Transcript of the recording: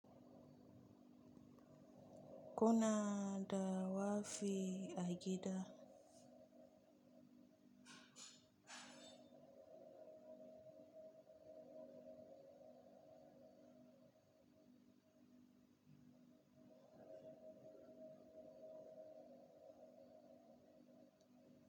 Kuna da wake a gida?